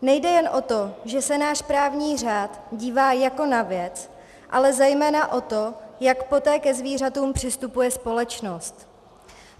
Nejde jen o to, že se náš právní řád dívá jako na věc, ale zejména o to, jak poté ke zvířatům přistupuje společnost.